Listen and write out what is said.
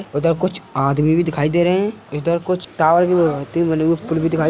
उधर कुछ आदमी भी दिखाई दे रहे हैं | इधर कुछ टावर पुल भी दिखाई --